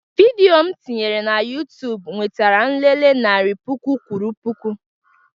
Vidio m tinyere na YuTubu nwetara nlele narị puku kwuru puku